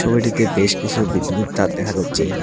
ছবিটিতে বেশ কিছু বিদ্যুতের তার দেখা যাচ্ছে।